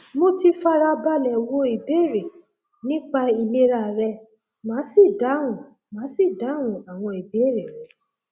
mo ti fara balẹ wo ìbéèrè nípa ìlera rẹ màá sì dáhùn màá sì dáhùn àwọn ìbéèrè rẹ